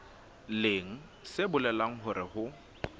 leng se bolelang hore ho